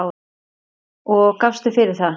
Hvað gafstu fyrir það?